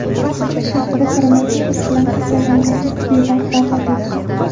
Moskva shahrida koronavirus bilan kasallangan ilk bemor vafot etdi.